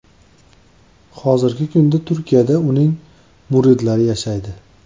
Hozirgi kunda Turkiyada uning muridlari yashaydi.